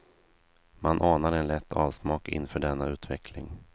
Man anar en lätt avsmak inför denna utveckling.